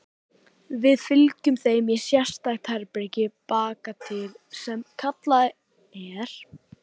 Við fylgjum þeim í sérstakt herbergi bakatil sem kallað er